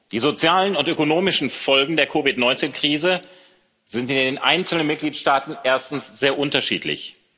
Die sozialen und ökonomischen Folgen der COVID 19 Krise sind in den einzelnen Mitgliedstaaten erstens sehr unterschiedlich.